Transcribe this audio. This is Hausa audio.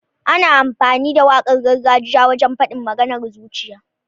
Ana amfani da waƙar gargajiya wajen faɗin maganar zuciya.